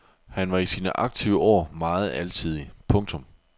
Han var i sin aktive år meget alsidig. punktum